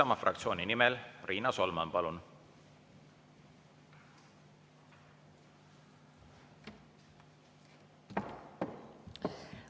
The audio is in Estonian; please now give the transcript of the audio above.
Isamaa fraktsiooni nimel Riina Solman, palun!